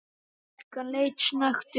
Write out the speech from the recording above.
Stúlkan leit snöggt upp.